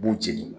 U b'u jeni